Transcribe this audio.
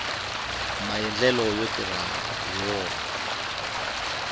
maendlelo yo tirha hi wona